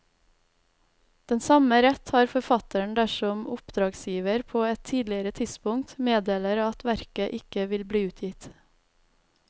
Den samme rett har forfatteren dersom oppdragsgiver på et tidligere tidspunkt meddeler at verket ikke vil bli utgitt.